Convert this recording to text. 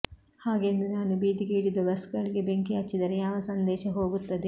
ಹಾಗೆಂದು ನಾನು ಬೀದಿಗೆ ಇಳಿದು ಬಸ್ಗಳಿಗೆ ಬೆಂಕಿ ಹಚ್ಚಿದರೆ ಯಾವ ಸಂದೇಶ ಹೋಗುತ್ತದೆ